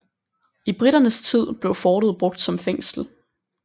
I briternes tid blev fortet brugt som fængsel